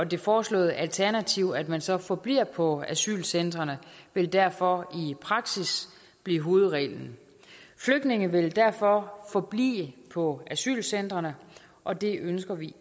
det foreslåede alternativ at man så forbliver på asylcentrene vil derfor i praksis blive hovedreglen flygtninge vil derfor forblive på asylcentrene og det ønsker vi